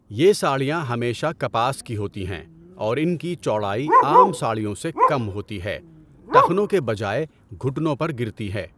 یہ ساڑیاں ہمیشہ کپاس کی ہوتی ہیں اور ان کی چوڑائی عام ساڑیوں سے کم ہوتی ہے، ٹخنوں کے بجائے گھٹنوں پر گرتی ہے۔